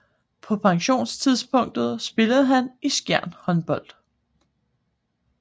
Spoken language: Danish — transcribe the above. På pensionstidspunktet spillede han i Skjern Håndbold